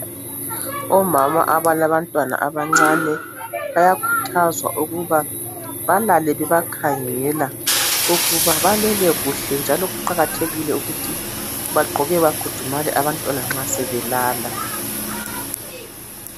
Omama abalabantwana abancane bayakhuthazwa ukuba balale bebakhangela ukuba balele kuhle. Njalo kuqakathekile ukuthi bagqoke bakhudumale abantwana nxa sebelala.